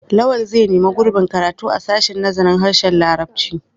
Lawal zai nemi gurbin karatu a sashen nazarin harshen larabci.